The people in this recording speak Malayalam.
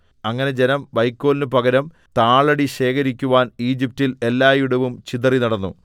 അങ്ങനെ ജനം വൈക്കോലിന് പകരം താളടി ശേഖരിക്കുവാൻ ഈജിപ്റ്റിൽ എല്ലായിടവും ചിതറി നടന്നു